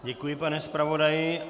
Děkuji, pane zpravodaji.